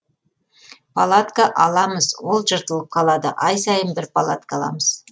палатка аламыз ол жыртылып қалады ай сайын бір палатка аламыз